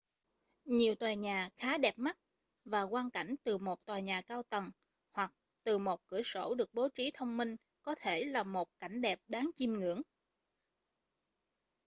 nhiều tòa nhà khá đẹp mắt và quang cảnh từ một tòa nhà cao tầng hoặc từ một cửa sổ được bố trí thông minh có thể là một cảnh đẹp đáng chiêm ngưỡng